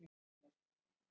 En það eru ekki mín orð.